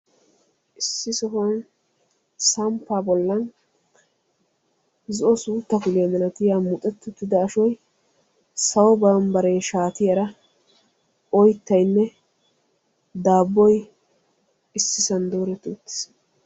Issi sohuwaan samppaa bollan zo'o suutta kuliyaa milatiyaa muxetti uttida ashshoy sawo barbbaree shaatiyaara oyttayinne daabboy issisaan dooretti uttiis.